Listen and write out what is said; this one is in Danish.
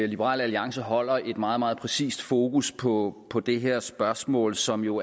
liberal alliance holder et meget meget præcist fokus på på det her spørgsmål som jo